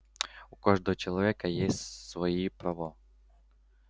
у каждого человека есть свои права